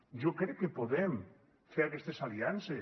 jo crec que podrem fer aquestes aliances